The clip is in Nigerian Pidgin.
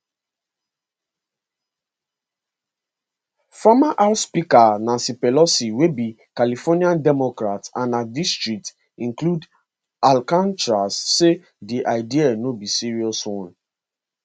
former house speaker nancy pelosi wey be california democrat and her district include alcatraz say di idea no be serious one